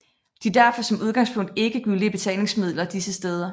De er derfor som udgangspunkt ikke gyldige betalingsmidler disse steder